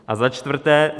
A za čtvrté.